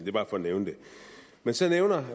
er bare for at nævne det men så nævner